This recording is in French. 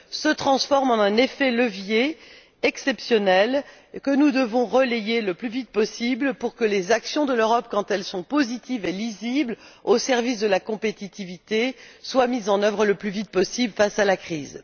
se transforment en un effet de levier exceptionnel, que nous devons relayer le plus vite possible pour que les mesures de l'Europe, quand elles sont positives, lisibles et au service de la compétitivité, soient mises en œuvre le plus vite possible face à la crise.